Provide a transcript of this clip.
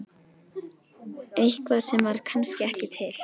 Eitthvað sem var kannski ekki til.